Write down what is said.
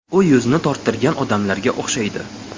U yuzini torttirgan odamlarga o‘xshaydi.